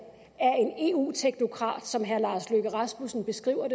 af en eu teknokrat som herre lars løkke rasmussen beskriver